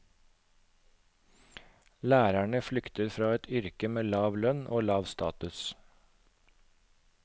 Lærerne flykter fra et yrke med lav lønn og lav status.